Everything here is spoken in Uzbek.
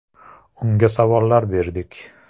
Unga savollar berdik.